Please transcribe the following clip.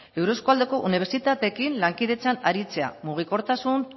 eurozko aldeko unibertsitateekin lankidetzan aritzea mugikortasun